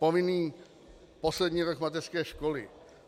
Povinný poslední rok mateřské školy.